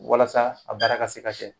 Walasa a baara ka se ka kɛ